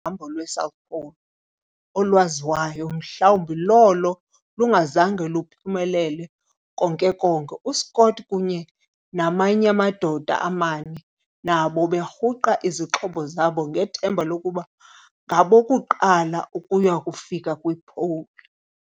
Olona hambo lwe'South Pole' o lwaziwayo mhlawumbi lolo lungazange luphumelele konke-konke. U-Scott kunye namany'amadoda amane, nabo berhuqa izixhobo zabo ngethemba lokuba ngabokuqala ukuyakufika kwi-'Pole'.